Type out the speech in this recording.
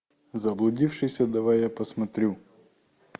заблудившиеся давай я посмотрю